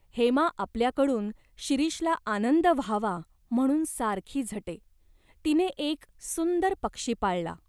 हेमा आपल्याकडून शिरीषला आनंद व्हावा म्हणून सारखी झटे. तिने एक सुंदर पक्षी पाळला.